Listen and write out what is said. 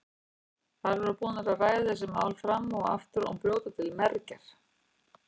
Þær voru búnar að ræða þessi mál fram og aftur og brjóta til mergjar.